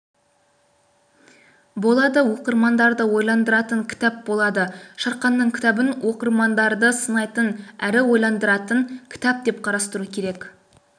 болады оқырмандарды ойландыратын кітап болады шарханның кітабын оқырмандарды сынайтын әрі ойландыратын кітап деп қарастыру керек